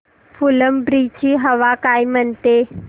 फुलंब्री ची हवा काय म्हणते